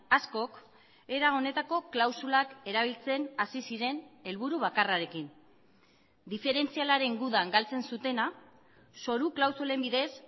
askok era honetako klausulak erabiltzen hasi ziren helburu bakarrarekin diferentzialaren gudan galtzen zutena zoru klausulen bidez